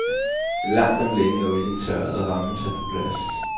Langt om længe er olien tørret og rammen sat på plads.